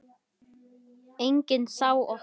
Enginn sá okkur.